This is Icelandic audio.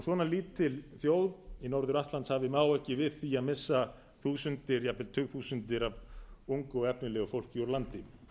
svona lítil þjóð í norður atlantshafi má ekki við því að missa þúsundir jafnvel tugþúsundir af ungu og efnilegu fólki úr landi